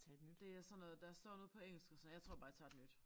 Det er sådan noget der står noget på engelsk og så jeg tror bare jeg tager et nyt